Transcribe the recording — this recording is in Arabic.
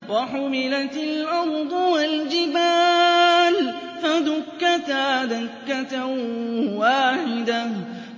وَحُمِلَتِ الْأَرْضُ وَالْجِبَالُ فَدُكَّتَا دَكَّةً وَاحِدَةً